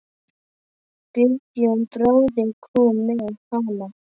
Guðjón bróðir kom með hana.